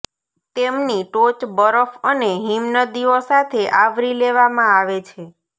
તેમની ટોચ બરફ અને હિમનદીઓ સાથે આવરી લેવામાં આવે છે